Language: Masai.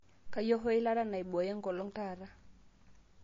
kayieu hoo eilata naibooyo enkolong taata